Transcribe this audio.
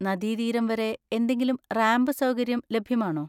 നദീതീരം വരെ എന്തെങ്കിലും റാമ്പ് സൗകര്യം ലഭ്യമാണോ?